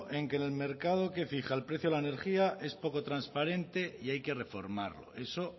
en que el mercado que fija el precio de la energía es poco transparente y hay que reformarlo eso